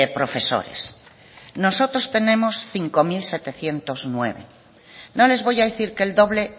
profesores nosotros tenemos cinco mil setecientos nueve no les voy a decir que el doble